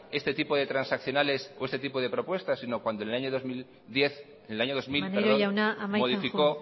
este tipo de transaccionales o este tipo de propuestas sino cuando en el año dos mil modificó